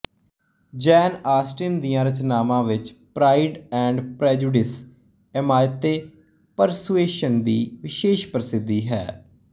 ਜੇਨ Austen ਦੀਆਂ ਰਚਨਾਵਾਂ ਵਿੱਚ ਪ੍ਰਾਇਡ ਐਂਡ ਪ੍ਰੇਜੁਡਿਸ ਏਮਾਅਤੇ ਪਰਸੁਏਸ਼ਨ ਦੀ ਵਿਸ਼ੇਸ਼ ਪ੍ਰਸਿਧੀ ਹੈ